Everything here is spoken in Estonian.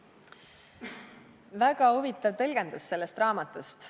Väga huvitav tõlgendus sellest raamatust.